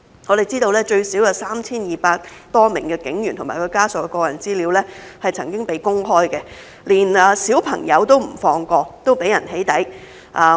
我們知道最少有 3,200 多名警員和其家屬的個人資料曾經被公開，連小朋友都不放過，都被人"起底"。